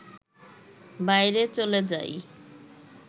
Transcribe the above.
বাইরে চলে যাই